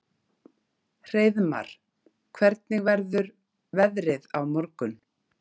Hreiðmar, hvernig verður veðrið á morgun?